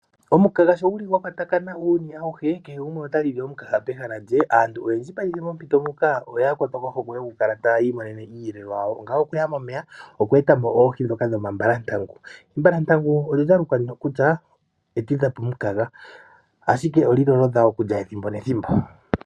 Omunkanga sho nguli ngwakwtakana uuyuni awuhe kehe gumwe ota lili omunkanga pehala lye aantu oyendji payife mompito muka oya kwatwa kohokwe yokukala tayimonene iiyelelwa yawo ngawo okuya momeya okwetapo oohii dhoka dhoma mbalatangu, ombalatangu ondaluka kutya okutidhapo omunkanga ashike oli lolodha okulya thimbo nethimbo.